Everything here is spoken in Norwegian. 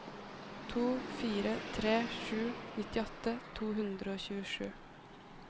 to fire tre sju nittiåtte to hundre og tjuesju